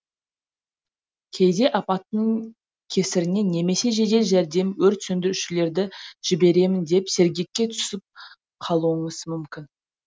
кейде апаттың кесірінен немесе жедел жәрдем өрт сөндірушілерді жіберемін деп сергекке түсіп қалуыңыз мүмкін